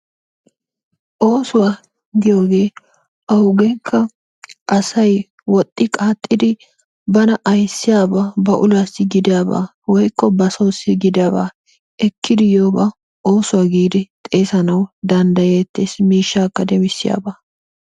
Oosuwa giyoogee awugeekka asay woxxi qaaxxidi bana ayssiyoba ba uluwassi gidaba woykko ba soossi gidaba ekkidi yiyoogaa oosuwa giidi xeesanawu danddayeetees. miishaakka demmisiiyaba.